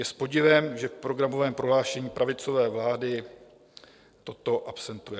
Je s podivem, že v programovém prohlášení pravicové vlády toto absentuje.